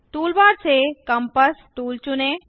toolbar से compass tool चुनें